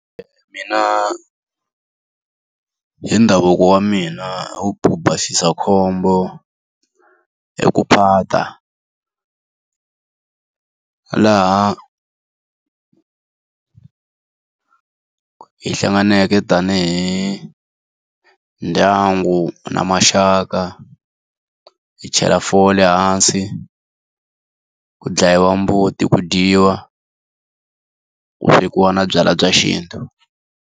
Mina hi ndhavuko wa mina ku basisa khombo i ku phata. Laha hi hlanganeke tanihi ndyangu na maxaka, hi chela fole hansi, ku dlayiwa mbuti, ku dyiwa, ku swekiwa na byalwa bya xintu.